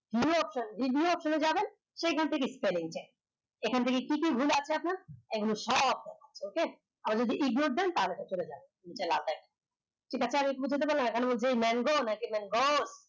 video option এ যাবেন সেখান থেকে spelling change এখান থেকে কি কি ভুল আছে আপনার এগুলো সব okay আবার যদি Ignore দেন তা হলে চলে যায় নিচে লাল দাগ পারে mango না কি mango ওর